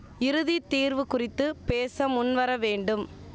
இறுதி தீர்வு குறித்து பேச முன்வர வேண்டும்